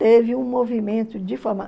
Teve um movimento de